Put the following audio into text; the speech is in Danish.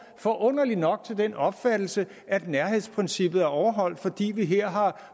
forunderligt nok til den opfattelse at nærhedsprincippet er overholdt fordi vi her har